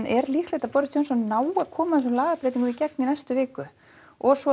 er líklegt að Boris Johnson nái koma þessum lagabreytingum í gegn í næstu viku og svo